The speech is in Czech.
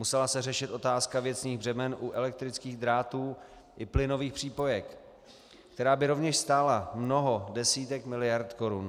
Musela se řešit otázka věcných břemen u elektrických drátů i plynových přípojek, která by rovněž stála mnoho desítek miliard korun.